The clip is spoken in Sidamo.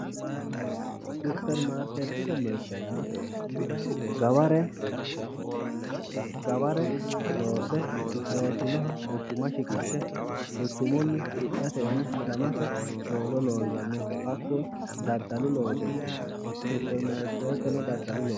Supermaarkeettete mirte yaa gaware loosse loossinoha quchuma shiqishshe quchumunni hidhatenna hiramate looso loonsanniho hakkuno daddalu loosooti yinanni supermaarkeetteno daddalu loosooti